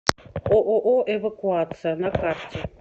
ооо эвакуация на карте